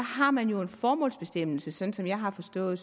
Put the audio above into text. har man jo en formålsbestemmelse sådan som jeg har forstået